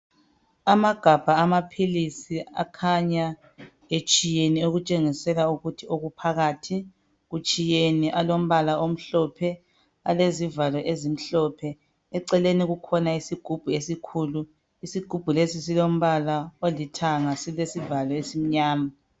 Amagabha amaphilisi akhanya etshiyene okutshengisela ukuthi okuphakathi kutshiyene alombala omhlophe alezivalo ezimhlophe eceleni kukhona isigubhu esikhulu isigubhu lesi silombala olithanga silesivalo esimnyama.